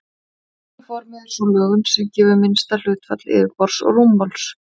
Kúluformið er sú lögun sem gefur minnsta hlutfall yfirborðs og rúmmáls.